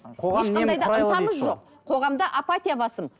қоғамда апатия басым